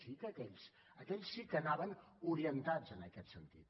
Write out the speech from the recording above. sí que aquells aquells sí que anaven orientats en aquest sentit